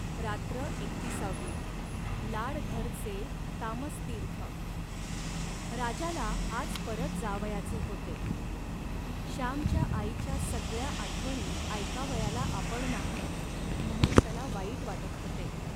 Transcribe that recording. रात्र एकतिसावी लाडघरचे तामस्तीर्थ..राजाला आज परत जावयाचे होते. श्यामच्या आईच्या सगळ्या आठवणी ऐकावयाला आपण नाही, म्हणून त्याला वाईट वाटत होते